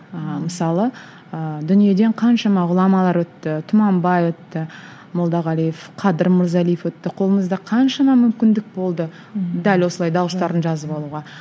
ыыы мысалы ыыы дүниеден қаншама ғұламалар өтті тұманбай өтті молдағалиев қадыр мырзалиев өтті қолымызда қаншама мүмкіндік болды дәл осылай дауыстарын жазып алуға